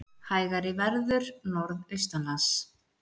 Hægari verður norðaustanlands